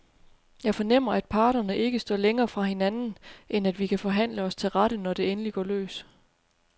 Jeg fornemmer, at parterne ikke står længere fra hinanden, end at vi kan forhandle os til rette, når det endelig går løs.